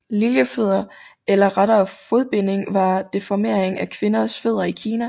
Liljefødder eller rettere fodbinding var deformering af kvinders fødder i Kina